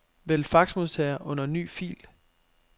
Vælg faxmodtager under ny fil.